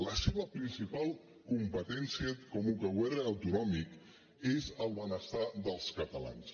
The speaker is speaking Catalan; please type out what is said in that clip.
la seva principal competència com a govern autonòmic és el benestar dels catalans